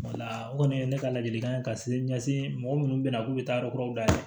o kɔni ye ne ka ladilikan ye ka sin ɲɛsin mɔgɔ munnu be yan k'u be taa yɔrɔw la